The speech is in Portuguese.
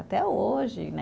Até hoje, né?